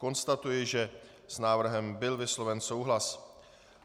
Konstatuji, že s návrhem byl vysloven souhlas.